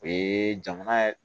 O ye jamana